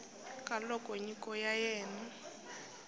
ka loko nyiko ya wena